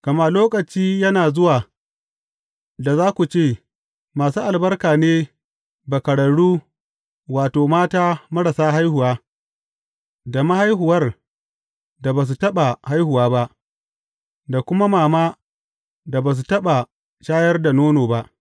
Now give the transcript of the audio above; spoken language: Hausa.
Gama lokaci yana zuwa da za ku ce, Masu albarka ne bakararru, wato, mata marasa haihuwa, da mahaihuwar da ba su taɓa haihuwa ba, da kuma mama da ba su taɓa shayar da nono ba!’